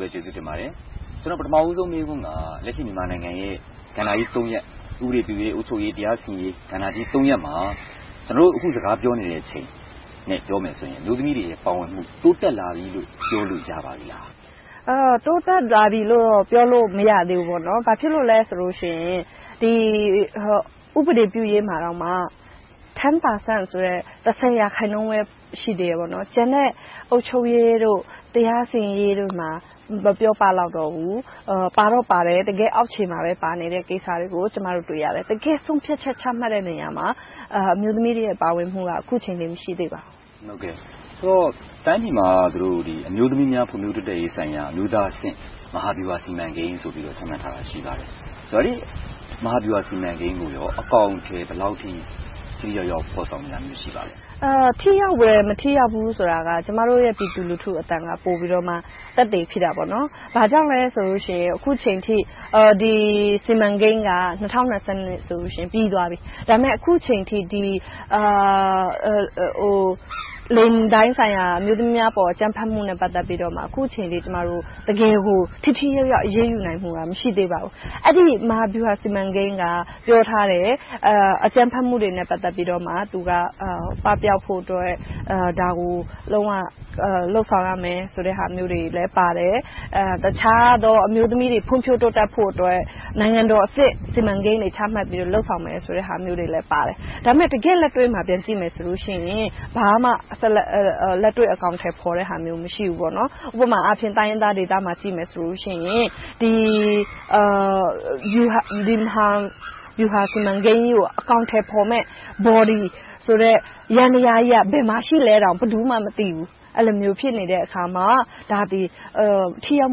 ပဲကျေးဇူးတင်ပါတယ်။ ပထမဦးဆုံးမေးခွန်းက လက်ရှိမြန်မာနိုင်ငံရဲ့ ကဏ္ဍကြီး ရပ် - ဥပဒေပြုရေး၊ အုပ်ချုပ်ရေး နဲ့ တရားစီရင်ရေး ကဏ္ဍကြီး ရပ်မှာ ကျနော်တို့ အခုစကားပြောနေချိန်နဲ့ ပြောမယ်ဆိုရင် အမျိုးသမီးတွေရဲ့ ပါဝင်မှု တိုးတက်လာပြီလို့ ပြောလို့ရပါပြီလား။ တိုးတက်လာပြီလို့တော့ ပြောလို့မရသေးဘူး။ ဘာဖြစ်လို့လဲဆိုရင် ဥပဒေပြုရေးမှာ တစ်ဆယ်ရာခိုင်နှုန်းပဲ ရှိသေးတယ်။ ကျန်တဲ့ အုပ်ချုပ်ရေး၊ တရားစီရင်ရေးတို့မှာ မပြောပလောက်တော့ဘူး။ ပါတော့ပါတယ် တကယ့်အောက်ခြေမှာပဲ ပါနေတဲ့ကိစ္စတွေကို ကျမတို့ တွေ့ရတယ်။ တကယ့်ဆုံးဖြတ်ချက် ချမှတ်တဲ့နေရာမှာ အမျိုးသမီးတွေရဲ့ ပါဝင်မှုက အခုချိန်ထိ မရှိသေးပါဘူး။ ဆိုတော့ တိုင်းပြည်မှာ အမျိုးသမီးများ ဖွံ့ဖြိုးတိုးတက်ရေးဆိုင်ရာ အမျိုးသားအဆင့် မဟာဗျူဟာစီမံကိန်းဆိုပြီးတော့ ချမှတ်ထားတာ ရှိပါတယ်။ အဲဒီမဟာဗျူဟာစီမံကိန်းကို အကောင်အထည် ဘယ်လောက်အထိ ထိထိရောက်ရောက် ဖော်ဆောင်နေတာ ရှိပါသလဲ။ ထိရောက်တယ်၊ မထိရောက်ဘူးဆိုတာက ကျမတို့ရဲ့ ပြည်သူလူထုရဲ့အသံက ပိုပြီးတော့ သက်သေဖြစ်တယ်။ ဘာကြောင့်လဲဆိုလို့ရှိရင် အခုအချိန်အထိ ဒီ စီမံကိန်းက ၂၀၂၂ ဆိုရင် ပြီးသွားပြီ။ ဒါပေမဲ့ အခုအချိန်အထိ လိင်ပိုင်းဆိုင်ရာ အမျိုးသမီးအပေါ် အကြမ်းဖက်မှုနဲ့ ပတ်သက်ပြီးတော့ အခုအချိန်အထိ တကယ်ကို ထိထိရောက်ရောက် အရေးယူနိုင်မှုက မရှိသေးပါဘူး။ အဲဒီ မဟာဗျူဟာစီမံကိန်းက ပြောထားတယ် - အကြမ်းဖက်မှုတွေနဲ့ ပတ်သက်လို့ သူက ပပျောက်ဖို့အတွက် ဒါကို လုံးဝလုပ်ဆောင်ရမယ်ဆိုတဲ့ အချက်တွေလည်းပါတယ်။ တခြားသော အမျိုးသမီးတွေ ဖွံ့ဖြိုးတိုးတက်ဖို့အတွက် နိုင်ငံတော်အဆင့် စီမံကိန်းတွေ ချမှတ်ပြီးတော့ လုပ်ဆောင်မယ်ဆိုတဲ့အချက်တွေလည်း ပါတယ်။ ဒါပေမဲ့ တကယ့်လက်တွေ့ကို ပြန်ကြည့်မယ်ဆိုရင် ဘာမှလက်တွေ့အကောင်အထည်ဖော်တဲ့ဟာမျိုး မရှိပါဘူး။ ဥပမာအားဖြင့် တိုင်းရင်းသားဒေသတွေကို ကြည့်လိုက်မယ်ဆိုရင် ဒီမဟာဗျူဟာစီမံကိန်းကြီးကို အကောင်အထည်ဖော်မယ့် Body ဆိုတဲ့ ယန္တရားကြီး ဘယ်မှာရှိသလဲဆိုတာကို ဘယ်သူမှ မသိဘူး၊ အဲဒီလို ဖြစ်နေတဲ့အခါမှာ ဒါက ထိရောက်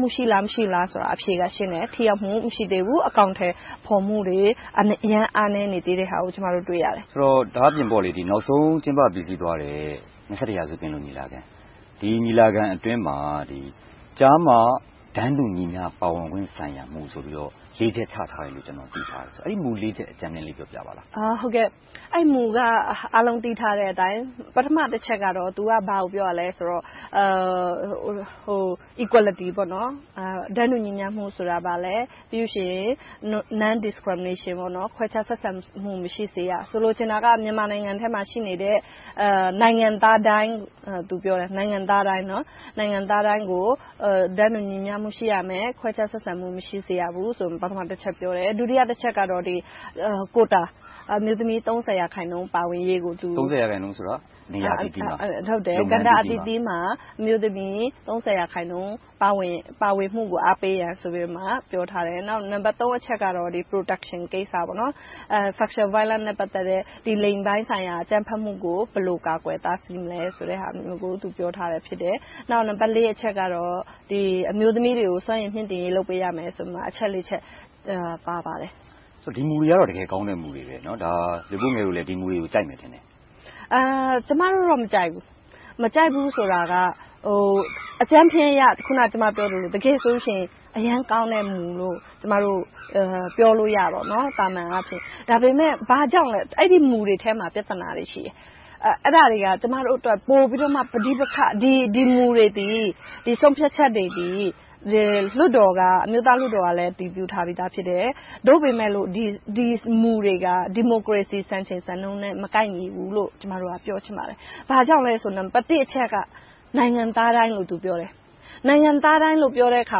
မှုရှိလား၊ မရှိဘူးလားဆိုတာ အဖြေက ရှင်းနေတယ်။ ထိရောက်မှု မရှိသေးဘူး။ အကောင်အထည်ဖော်မှုတွေ အရမ်းအားနည်းနေသေးတာကို ကျမတို့ တွေ့ရတယ်။ ဒါ့အပြင် နောက်ဆုံးကျင်းပပြီးစီးသွားတဲ့ ရာစု ပင်လုံညီလာခံ - ဒီညီလာခံအတွင်းမှာ ကျားမတန်းတူညီမျှပါဝင်ခွင့်ဆိုင်ရာ မူဆိုပြီးတော့ လေးချက်ချထားတယ်လို့ ကျနော် သိထားတယ်။ အဲဒီ မူ ချက်ကို အကြမ်းဖျဉ်းလေး ပြောပြပါလား။ အဲဒီမူက အားလုံးသိထားတဲ့အတိုင်း ပထမတချက်က ဘာကိုပြောတာလဲဆိုတော့ Equality - တန်းတူညီမျှမှုဆိုတာ ဘာလဲ။ ပြီးနောက် Non-discrimination ခွဲခြားဆက်ဆံမှု မရှိစေရ။ ဆိုလိုချင်တာက မြန်မာနိုင်ငံထဲမှာ ရှိနေတဲ့ နိုင်ငံသားတိုင်းကို တန်းတူညီမျှမှု ရှိရမယ်။ ခွဲခြားဆက်ဆံမှု မရှိစေရဘူးဆိုပြီး ပထမတချက်ကို ပြောတယ်။ ဒုတိယတချက်ကတော့ ကိုယ်တာ အမျိုးသမီး ရာခိုင်နှုန်း ပါဝင်ရေးကို.. သုံးဆယ်ရာခိုင်နှုန်းဆိုတာက နေရာအသီးသီးမှာ၊ကဏ္ဍအသီးသီးမှာ အမျိုးသမီး ရာခိုင်နှုန်း ပါဝင်မှုကို အားပေးတယ်ဆိုပြီးတော့ ပြောထားတယ်။ နောက် နံပတ် အချက်ကတော့ Protection ကိစ္စ - Sexual violence လိင်ပိုင်းဆိုင်ရာ အကြမ်းဖက်မှုကို ဘယ်လို ကာကွယ်တားဆီးမလဲဆိုတဲ့ဟာမျိုးကို ပြောထားတယ်။ နောက် နံပတ် အချက်ကတော့ အမျိုးသမီးတွေကို စွမ်းရည်မြှင့်တင်ရေး လုပ်ပေးရမယ်ဆိုပြီး အချက် ချက် ပါရှိပါတယ်။ ဒီမူတွေကတော့ တကယ်ကောင်းတဲ့ မူတွေ ဖြစ်တယ်။ မလွေးပိုးငယ်တို့လည်း ဒီမူတွေကို ကြိုက်မယ်ထင်တယ်။ ကျမတို့တော့ မကြိုက်ဘူး။ မကြိုက်ဘူးဆိုတာက အကြမ်းဖျဉ်းအရ တကယ်ဆိုရင် အရမ်းကောင်းတဲ့ မူလို့ ကျမတို့ ပြောလို့ရတယ်။ သာမန်အားဖြင့်။ ဒါပေမဲ့ အဲဒီမူတွေထဲမှာ ပြဿနာတွေ ရှိတယ်။ အဲဒါတွေက ကျမတို့အတွက် ပိုပြီးတော့မှ ပဋိပက္ခ ဖြစ်စေတယ် - ဒီမူတွေ၊ ဆုံးဖြတ်ချက်တွေသည် အမျိုးသားလွှတ်တော်ကလည်း အတည်ပြုထားပြီသားဖြစ်တယ်။ သို့ပေမယ့် ဒီမူတွေက ဒီမိုကရေစီ စံချိန်စံနှုန်းနဲ့ မကိုက်ညီဘူးလို့ ကျမတို့က ပြောချင်ပါတယ်။ ဘာကြောင့်လဲဆိုရင် နံပတ်တစ်အချက်က နိုင်ငံသားတိုင်းလို့ ပြောတယ် - နိုင်ငံသားတိုင်းလို့ ပြောတဲ့အခါ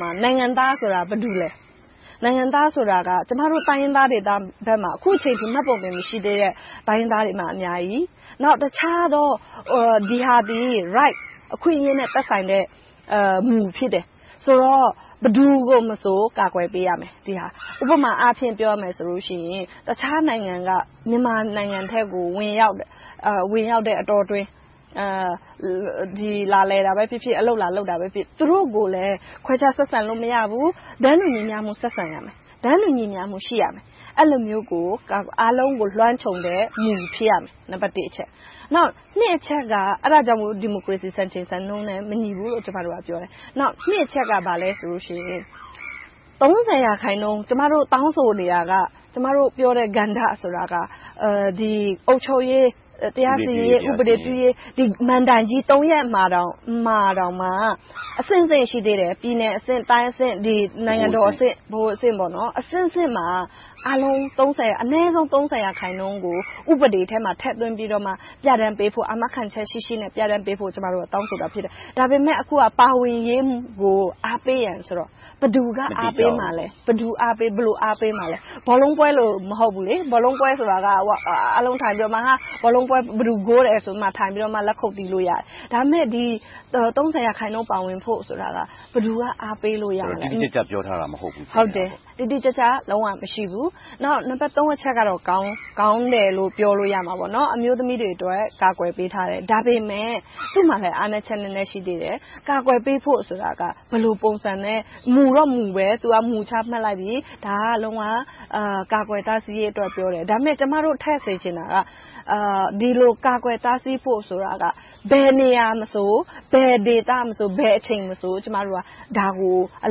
မှာ နိုင်ငံသားဆိုတာ ဘယ်သူတွေလဲ။ နိုင်ငံသားဆိုတာက ကျမတို့ တိုင်းရင်းသားတွေဘက်မှာ အခုအချိန်အထိ မှတ်ပုံတင် မရှိသေးတဲ့ တိုင်းရင်းသားတွေ အများကြီး။ နောက်တခြားသော Rights အခွင့်အရေးတွေနဲ့ သက်ဆိုင်တဲ့မူ ဖြစ်တယ်။ ဆိုတော့ ဘယ်သူကိုမဆို ကာကွယ်ပေးရမယ်။ ဥပမာအားဖြင့် ပြောရမယ်ဆိုရင် တခြားနိုင်ငံက မြန်မာနိုင်ငံအတွင်းကို ဝင်ရောက်တဲ့အတောအတွင်း လာလည်တာပဲဖြစ်ဖြစ်၊ အလုပ်လာလုပ်တာပဲဖြစ်ဖြစ် သူတို့ကိုလည်း ခွဲခြားဆက်ဆံလို့ မရဘူး။ တန်းတူညီတူ ဆက်ဆံရမယ်။ တန်းတူညီမျှမှု ရှိရမယ်။ အဲဒီလိုမျိုး အားလုံးကို လွှမ်းခြုံတဲ့ မူ ဖြစ်ရမယ်။ နံပတ်နှစ်အချက်က အဲဒါကြောင့်မို့ ဒီမိုကရေစီ စံချိန်စံနှုန်းနဲ့ မညီဘူးလို့ ကျမတို့က ပြောတယ်။ နှစ်အချက်က ကျမတို့ တောင်းဆိုနေတာက၊ ကျမတို့ပြောတဲ့ ကဏ္ဍဆိုတာက အုပ်ချုပ်ရေး၊ တရားစီရင်ရေး၊ ဥပဒေပြုရေး ဒီမဏ္ဍိုင်ကြီး သုံးရပ်မှာတောင်မှ အဆင့်ဆင့်ရှိသေးတယ် - ပြည်နယ်အဆင့်၊ တိုင်းအဆင့်၊ ဗဟိုအဆင့်၊ နိုင်ငံတော်အဆင့်မှာ အနည်းဆုံး ရာခိုင်နှုန်းကို ဥပဒေထဲမှာ ထည့်သွင်းပြီးတော့ ပြဌာန်းပေးဖို့ အာမခံချက်ရှိရှိနဲ့ ပြဌာန်းပေးဖို့ ကျမတို့က တောင်းဆိုတာဖြစ်တယ်။ ဒါပေမဲ့ အခုက ပါဝင်ရေးကို အားပေးရန်ဆိုတော့ ဘယ်သူက အားပေးမှာလဲ။ ဘယ်လိုအားပေးမှာလဲ။ ဘောလုံးပွဲလို မဟုတ်ဘူးလေ - ဘောလုံးပွဲဆိုတာက အားလုံးထိုင်ပြီးတော့ ဘယ်သူ ဂိုးတယ်ဆိုတာကို လက်ခုပ်တီး အားပေးလို့ရတယ်။ ဒါပေမဲ့ ရာခိုင်နှုန်း ပါဝင်ဖို့ဆိုတာ ဘယ်သူက အားပေးလို့ရမလဲ။ တိတိကျကျ ပြောထားတာ မဟုတ်ဘူးပေါ့။ ဟုတ်တယ်.. တိတိကျကျ လုံးဝမရှိဘူး။ နောက် နံပတ်သုံးအချက်ကတော့ ကောင်းတယ်လို့ ပြောလို့ရမှာပေါ့။ အမျိုးသမီးတွေအတွက် ကာကွယ်ပေးထားတယ်။ ဒါပေမဲ့ သူ့မှာလဲ အားနည်းချက် နည်းနည်းရှိသေးတယ်။ ကာကွယ်ပေးဖို့ဆိုတာက ဘယ်လိုပုံစံနဲ့ မူတော့မူပဲ မူတော့ ချမှတ်လိုက်ပြီ - ဒါက လုံးဝကာကွယ်တားဆီးရေးအတွက် ပြောတယ်။ ဒါပေမဲ့ ကျမတို့ထည့်စေချင်တာက ဒီလိုကာကွယ်တားဆီးဖို့ဆိုတာ ဘယ်နေရာမှာမဆို၊ ဘယ်ဒေသမဆို၊ ဘယ်အချိန်မဆို ကျမတို့က ဒါကို အ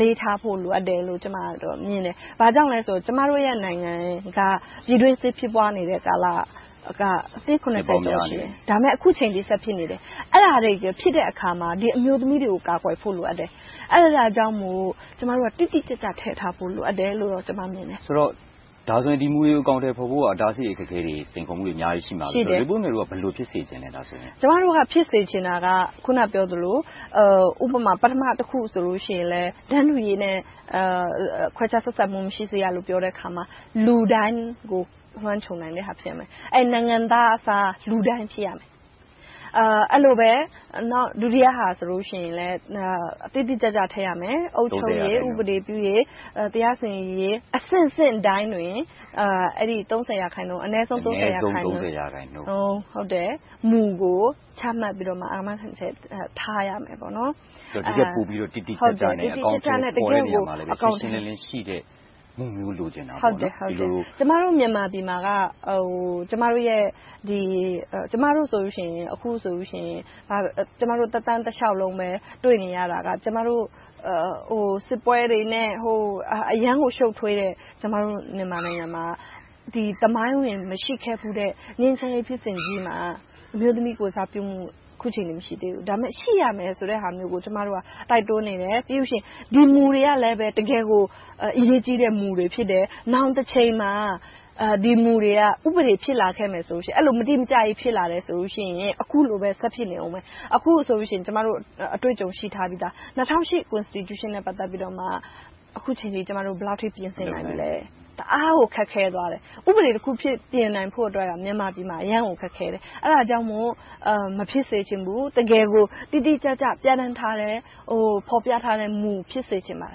လေးထားဖို့ လိုအပ်တယ်လို့ ကျမက မြင်တယ်။ ဘာကြောင့်လဲဆိုတော့ ကျမတို့နိုင်ငံက ပြည်တွင်းစစ်ဖြစ်ပွားနေတဲ့ ကာလက နှစ် ကျော် ရှိတယ်။ အခုအချိန်အထိ ဆက်ဖြစ်နေတယ်။ အဲဒါတွေဖြစ်တဲ့အခါမှာ အမျိုးသမီးတွေကို ကာကွယ်ဖို့ လိုအပ်တယ်။ အဲဒါကြောင့်မို့ ကျမတို့က တိတိကျကျ ထည့်ထားဖို့ လိုအပ်တယ်လို့ ကျမမြင်တယ်။ ဆိုတော့ ဒီမူတွေကို အကောင်အထည်ဖော်ဖို့ရာ အတားအဆီး၊ အခက်အခဲ၊ စိန်ခေါ်မှုတွေ အများကြီး ရှိမှာပဲ။ မလွေးပိုးငယ်တို့က ဘယ်လို ဖြစ်စေချင်တာလဲ။ ကျမတို့ ဖြစ်စေချင်တာက အခုနပြောသလို ပထမတခုဆိုရင်လဲ တန်းတူရေးနဲ့ ခွဲခြားဆက်ဆံမှု မရှိစေရလို့ ပြောတဲ့အခါမှာ လူတိုင်းကို လွှမ်းခြုံနိုင်တဲ့အရာ ဖြစ်စေရမယ်။ နိုင်ငံသားအစား လူတိုင်းဖြစ်ရမယ်။ အဲဒီလိုပဲ ဒုတိယအချက်ဆိုရင် တိတိကျကျ ထည့်ရမယ် - အုပ်ချုပ်ရေး၊ ဥပဒေပြုရေး၊ တရားစီရင်ရေး အဆင့်ဆင့်တိုင်းတွင် အနည်းဆုံး ရာခိုင်နူန်း မူကို ချမှတ်ပြီးတော့မှ အာမခံချက်ထားရမယ်။ တကယ့်ကို တိတိကျကျနဲ့ တကယ့်ကို အကောင်အထည်ဖော်ပြီး၊ ရှင်းရှင်းလင်းလင်းရှိတဲ့ မူမျိုး လိုချင်တာပေ့ါ။ ကျမတို့ မြန်မာပြည်မှာက ကျမတို့သက်တမ်းတလျှောက်လုံးပဲ တွေ့နေရတာက စစ်ပွဲတွေနဲ့ အရမ်းကိုရှုပ်ထွေးတယ်။ သမိုင်းဝင်မရှိခဲ့ဘူးတဲ့ ငြိမ်းချမ်းရေးဖြစ်စဉ်ကြီးမှာ အမျိုးသမီးကိုယ်စားပြုမှု အခုအချိန်အထိ မရှိသေးဘူး။ ဒါပေမဲ့ ရှိရမယ်ဆိုတဲ့ဟာမျိုးကို ကျမတို့က တိုက်တွန်းနေတယ်။ ပြီးနောက် ဒီမူတွေကလဲ တကယ့်ကို အရေးကြီးတဲ့မူတွေ ဖြစ်တယ်။ နောင်တချိန်မှာ ဒီမူတွေက ဥပဒေဖြစ်လာခဲ့ရင် အဲဒီလို မတိမကျကြီး ဖြစ်လာတယ်ဆိုရင် အခုလိုပဲ ဆက်ဖြစ်နေအုံးမယ်။ အခုဆိုရင် ကျမတို့ အတွေ့အကြုံရှိပြီသား။ ၂၀၀၈ ဖွဲ့စည်းပုံအခြေခံဥပဒေနဲ့ အခုအချိန်အထိ ကျမတို့ ဘယ်လောက်အထိ ပြင်ဆင်နိုင်ပြီလဲ။ တအားကို ခက်ခဲသွားတယ်။ ဥပဒေတခု ပြင်နိုင်ဖို့အတွက် မြန်မာနိုင်ငံမှာ အရမ်းကိုခက်ခဲတယ်။ အဲဒါကြောင့်မို့ မဖြစ်စေချင်ဘူး။ တကယ်ကို တိတိကျကျ ပြဌာန်းထားတဲ့၊ ဖော်ပြထားတဲ့မူပဲ ဖြစ်စေချင်ပါတ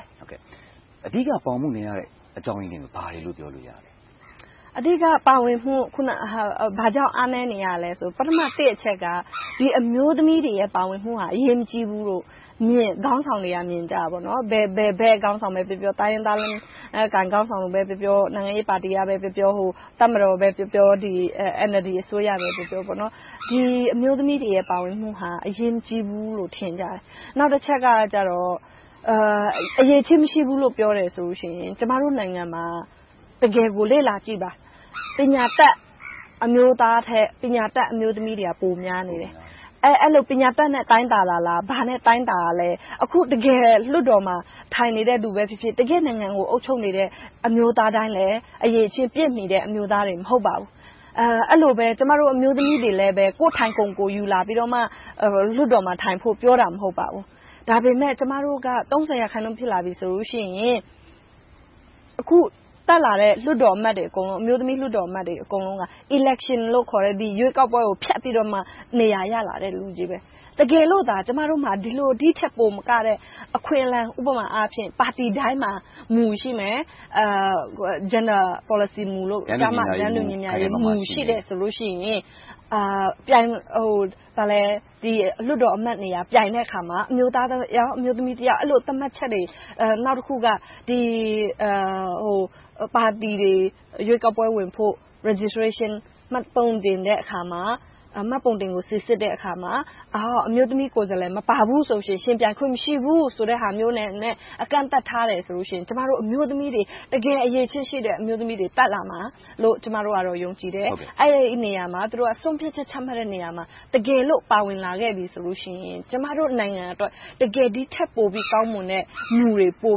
ယ်။ အဓိက ပါဝင်မှုမရတဲ့ အကြောင်းရင်းတွေက ဘာတွေလို့ ပြောလို့ရမလဲ။ အဓိက ဘာကြောင့် ပါဝင်မှု အားနည်းနေရလဲဆိုရင် ပထမတစ်အချက်က အမျိုးသမီးတွေ ပါဝင်မှုက အရေးမကြီးဘူးလို့ ခေါင်းဆောင်တွေက မြင်ကြတယ်။ ဘယ်ခေါင်းဆောင်ပဲပြောပြော၊ တိုင်းရင်းသားလက်နက်ကိုင်အုပ်စုက ခေါင်းဆောင်တွေပဲပြောပြော။ နိုင်ငံရေးပါတီကပဲပြောပြော၊ တပ်မတော်ပဲပြောပြော၊ NLD အစိုးရပဲပြောပြော အမျိုးသမီးတွေရဲ့ ပါဝင်မှုဟာ အရေးမကြီးဘူးလို့ ထင်ကြတယ်။ နောက်တချက်က အရည်အချင်းမရှိဘူးလို့ ပြောတယ်ဆိုလို့ရှိရင် ကျမတို့နိုင်ငံမှာ တကယ်ကို လေ့လာစရာတွေ အများကြီးပါ။ ပညာတတ်အမျိုးသားထက် ပညာတတ်အမျိုးသမီးတွေက ပိုများနေတယ်။ အဲဒီလို ပညာတတ်နဲ့ တိုင်းတာတာလား။ ဘာနဲ့တိုင်းတာလဲ။ အခု တကယ်လွှတ်တော်မှာ ထိုင်နေတဲ့လူပဲဖြစ်ဖြစ်၊ နိုင်ငံကို အုပ်ချုပ်နေတဲ့ အမျိုးသားတိုင်းလည်း အရည်အချင်းပြည့်မီတဲ့ အမျိုးသားတွေ မဟုတ်ပါဘူး။ အဲဒီလိုပဲ ကျမတို့ အမျိုးသမီးတွေလဲ ကိုယ့်ထိုင်ခုံ ကိုယ်ယူလာပြီမှ လွှတ်တော်မှာထိုင်ဖို့ ပြောတာ မဟုတ်ပါဘူး။ ဒါပေမဲ့ ကျမတို့က ရာခိုင်နှုန်း ဖြစ်လာပြီဆိုရင် အခုတက်လာတဲ့ လွှတ်တော်အမတ်တွေအကုန်လုံး အမျိုးသမီးအမတ်တွေ အကုန်လုံးက Election လို့ခေါ်တဲ့ ရွေးကောက်ပွဲကို ဖျက်ပြီးတော့မှ နေရာရလာတဲ့ လူတွေ။ တကယ်လို့သာ ကျမမှာ ဒီထက်ပိုမကတဲ့ အခွင့်အလမ်း - ဥပမာ ပါတီတိုင်းမှာ မူ ရှိမယ်။ ကျားမတန်းတူညီမျှရေးမူ ရှိတယ်ဆိုရင် ဒီလွှတ်တော်အမတ်နေရာ ပြိုင်တဲ့အခါမှာ အမျိုးသား ယောက်၊ အမျိုးသမီး ယောက် သတ်မှတ်ချက်တွေ။ နောက်တခုက ပါတီတွေ ရွေးကောက်ပွဲဝင်ဖို့ Registration - မှတ်ပုံတင်တဲ့အခါမှာ မှတ်ပုံတင်ကို စီစစ်တဲ့အခါမှာ အမျိုးသမီးကိုယ်စားလှယ် မပါဘူးဆိုရင် ယှဉ်ပြိုင်ခွင့် မရှိဘူးဆိုတဲ့ဟာမျိုးနဲ့ အကန့်အသတ်ထားတယ်ဆိုလို့ရှိရင် ကျမတို့ အမျိုးသမီးတွေ တကယ်အရည်အချင်းရှိတဲ့ အမျိုးသမီးတွေ တက်လာမယ်လို့ ကျမတို့ ယုံကြည်တယ်။ အဲဒီနေရာမှာ သူတို့ ဆုံးဖြတ်ချက်ချတဲ့နေရာမှာ တကယ်လို့ ပါဝင်လာခဲ့ပြီဆိုရင် ကျမတို့နိုင်ငံအတွက် တကယ်ဒီထက်ပိုကောင်းတဲ့ မူတွေ ပို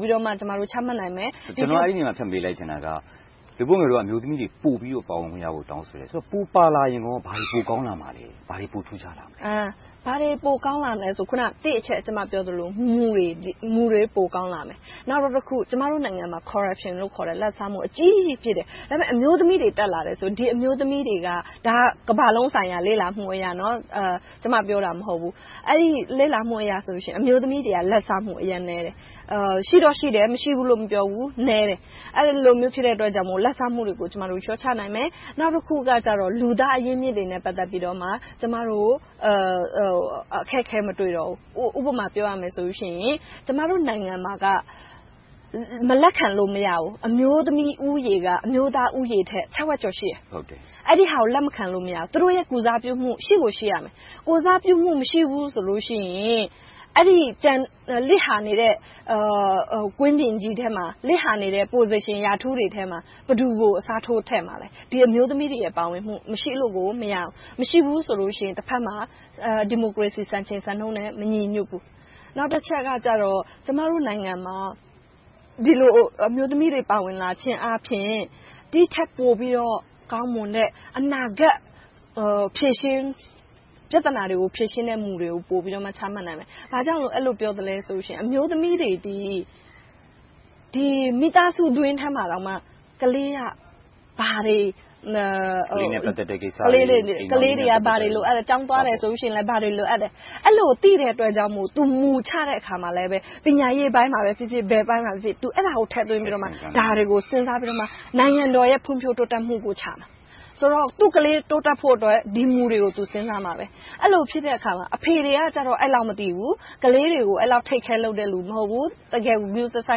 ပြီးတော့ ချမှတ်နိုင်မယ်။ ဒီနေရာမှာ ဖြတ်မေးလိုက်ချင်တာက မလွေးပိုးငယ်တို့က အမျိုးသမီးတွေ ပိုပြီးပါဝင်ခွင့်များကို တောင်းဆိုတယ်။ ပိုပါလာရင်ကော ဘာတွေပိုကောင်းလာမှာလဲ။ ဘာတွေပိုထူးခြားလာမလဲ။ ဘာတွေပိုကောင်းလာမလဲဆိုရင် နံပတ်တစ်အချက် ကျမပြောသလို - မူတွေ ပိုကောင်းလာမယ်။ နောက်တခုက ကျမတို့နိုင်ငံမှာ Corruption လို့ခေါ်တဲ့ လာဘ်စားမူ အကြီးကြီး ဖြစ်လာတယ်။ အမျိုးသမီးတွေ တက်လာတယ်ဆိုရင် ဒီအမျိုးသမီးတွေက ကမ္ဘာလုံးဆိုင်ရာ လေ့လာမှုအရဆိုရင် အမျိုးသမီးတွေက လာဘ်စားမှု အရမ်းနည်းတယ်။ ရှိတော့ရှိတယ် မရှိဘူးလို့ မပြောဘူး။ နည်းတယ် - အဲဒီလိုမျိုး ဖြစ်တဲ့အတွက်ကြောင့် လာဘ်စားမှုတွေကို လျှော့ချနိုင်တယ်။ နောက်တခုကြတော့ လူသားအရင်းအမြစ်တွေနဲ့ ပတ်သက်ပြီးတော့ ကျမတို့ အခက်အခဲ မတွေ့တော့ဘူး။ ဥပမာပြောရမယ်ဆိုရင် ကျမတို့နိုင်ငံမှာက မလက်ခံလို့ မရဘူး။ အမျိုးသမီးဦးရေက အမျိုးသားဦးရေထက် ထက်ဝက်ကျော် ရှိတယ်။ အဲဒါကို လက်မခံလို့ မရဘူး။ သူတို့ရဲ့ ကိုယ်စားပြုမှု ရှိကိုရှိမယ်။ လစ်ဟာနေတဲ့ Position, President ထဲမှာ ဘယ်သူကို အစားထိုးခန့်အပ်မလဲ။ ဒီအမျိုးသမီးတွေရဲ့ ပါဝင်မှု မရှိလို့ကို မရဘူး။ မရှိဘူးဆိုလို့ရှိရင် တဘက်မှာ ဒီမိုကရေစီ စံချိန်စံနှုန်းနဲ့ မညီညွှတ်ဘူး။ နောက်တချက်ကတော့ ကျမတို့နိုင်ငံမှာ ဒီလိုအမျိုးသမီးတွေ ပါဝင်လာခြင်းအားဖြင့် ဒီထက်ပိုပြီးတော့ ကောင်းမွန်တဲ့ အနာဂတ် ပြဿနာတွေကို ဖြေရှင်းတဲ့မူတွေကို ပိုပြီးတော့ ချမှတ်နိုင်မယ်။ ဘာကြောင့် အဲဒီလိုပြောသလဲဆိုရင် အမျိုးသမီးတွေသည် မိသားစုတွင်းထဲမှာတောင်မှ ကလေးနဲ့ ပတ်သက်တဲ့ကိစ္စတွေ - ကလေးတွေ ဘာတွေလိုအပ်လဲ။ ကျောင်းသွားမယ်ဆိုရင် ဘာတွေလိုအပ်လဲ။ အဲဒီလို သိတဲ့အတွက်ကြောင့်မို့ မူ ချတဲ့အခါမှာလဲ - ပညာရေးပိုင်းမှာဖြစ်ဖြစ်၊ ဘယ်အပိုင်းမှာဖြစ်ဖြစ် အဲဒါကို ထည့်သွင်းပြီးတော့၊ ဒါတွေကို စဉ်းစားပြီးတော့ နိုင်ငံတော်ရဲ့ ဖွံ့ဖြိုးတိုးတက်မှုကိုချမှာ။ သူ့ကလေး တိုးတက်ဖို့အတွက် ဒီမူတွေကို သူ စဉ်းစားရလိမ့်မယ်။ အဲဒီလိုဖြစ်တဲ့အခါမှာ အဖေတွေကတော့ အဲဒီလောက် မသိဘူး။ ကလေးတွေကို အဲဒီလောက် Take care လုပ်တဲ့လူ မရှိဘူး။ တကယ်ကို ဂရုတစို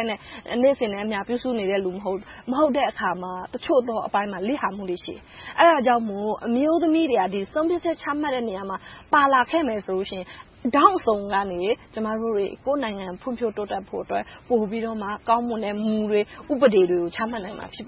က်နဲ့ နေ့စဉ်နဲ့အမျှ ပြုစုနေတဲ့ လူ မဟုတ်ဘူး။ မဟုတ်တဲ့အခါမှာ အချို့သောအပိုင်းမှာ လစ်ဟာမှုတွေ ရှိတယ်။ အဲဒါကြောင့်မို့ အမျိုးသမီးတွေက ဆုံးဖြတ်ချက်ချမှတ်တဲ့ နေရာမှာ ပါလာခဲ့မယ်ဆိုလို့ရှိရင် ထောင့်အစုံကနေ ကျမတို့တွေ ကိုယ့်နိုင်ငံ ဖွံ့ဖြိုးတိုးတက်ဖို့အတွက် ပိုပြီးတော့ ကောင်းမွန်တဲ့ မူတွေ၊ ဥပဒေတွေကို ချမှတ်နိုင်မှာ ဖြစ်တ